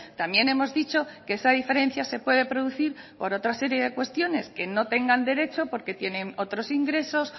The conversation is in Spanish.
también hemos dicho que esa diferencia se puede producir por otra serie de cuestiones que no tengan derechos porque tienen otros ingresos